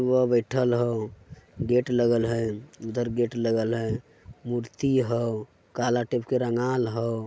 उहा बइठल हउ गेट लगल हई उधर गेट लागल हई मूर्ति हउ काला टेप के रंगाल हउ।